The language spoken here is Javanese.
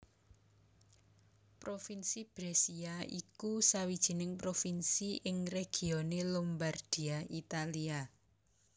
Provinsi Brescia iku sawijining Provinsi ing regione Lombardia Italia